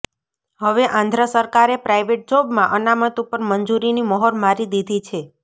હવે આંધ્ર સરકારે પ્રાઇવેટ જોબમાં અનામત ઉપર મંજુરીની મહોર મારી દીધી છે